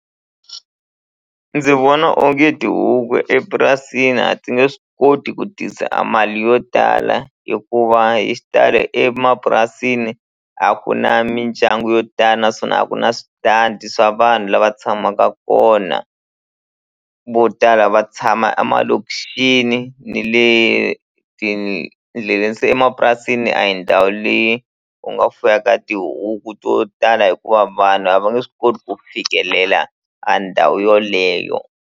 Ndzi vona onge tihuku epurasini a ti nge swi koti ku tisa a mali yo tala hikuva hi xitalo emapurasini a ku na mindyangu yo tala naswona a ku na switandi swa vanhu lava tshamaka kona vo tala va tshama a malokixini ni le se emapurasini a hi ndhawu leyi u nga fuyaka tihuku to tala hikuva vanhu a va nge swi koti ku fikelela a ndhawu yoleyo.